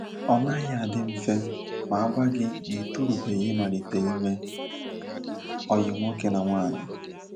Ọ naghị adị mfe ma agwa gị na ị torubeghị ịmalite ime ọyị nwoke na nwaanyị.